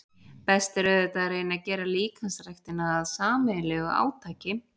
Best er auðvitað að reyna að gera líkamsræktina að sameiginlegu átaki.